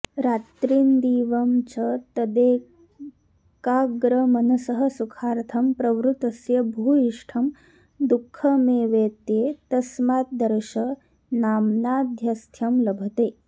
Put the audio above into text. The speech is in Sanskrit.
रात्रिन्दिवं च तदेकाग्रमनसः सुखार्थं प्रवृतस्य भूयिष्ठं दुःखमेवेत्येतस्माद्दर्शनान्माध्यस्थ्यं लभते